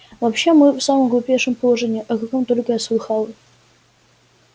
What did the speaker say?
вообще мы в самом глупейшем положении о каком только я слыхала